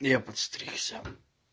я подстригся